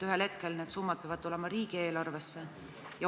Ühel hetkel peavad need summad tulema riigieelarvesse.